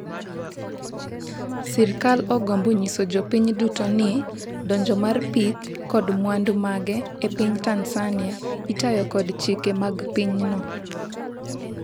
sirikal ogombo nyiso jopiny duto ni donjo mar pith kod mwandu mage e piny Tanzania itayo kod chike mag pinyno,